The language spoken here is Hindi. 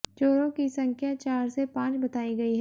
चोरों की संख्या चार से पांच बताई गई है